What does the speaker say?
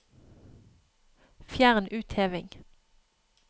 Fjern utheving